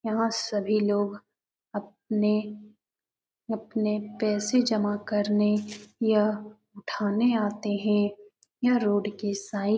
यहाँ सभी लोग अपने अपने पैसे जमा करने यह ठाणे आते हैं। यह रोड के साई --